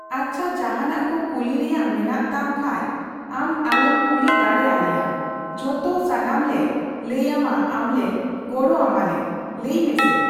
ᱟᱪᱪᱷᱟ ᱡᱟᱸᱦᱟᱱᱟᱜ ᱠᱚ ᱠᱩᱞᱤ ᱨᱮᱭᱟᱜ ᱢᱮᱱᱟᱜ ᱛᱟᱢ ᱠᱷᱟᱡ ᱟᱢ ᱟᱞᱮᱢ ᱠᱩᱞᱤ ᱫᱟᱲᱮ ᱟᱞᱮᱭᱟ ᱡᱷᱚᱛᱚ ᱥᱟᱱᱟᱢ ᱞᱮ ᱞᱟᱹᱭ ᱟᱢᱟ ᱟᱢ ᱞᱮ ᱜᱚᱲᱚ ᱟᱢᱟᱞᱮ , ᱞᱟᱹᱭ ᱢᱮᱥᱮ ?